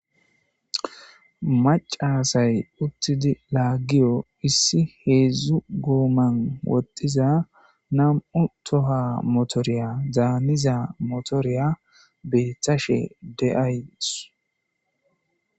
Mac'a asay utidi lagiyo issi hezdu goman wodhiza nam'u tohuwa motoriya daniza motoriya betashe de'aysu.